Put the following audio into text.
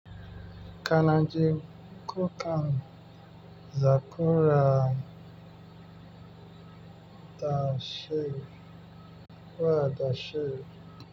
Kanaji kukan zakura wa dashi.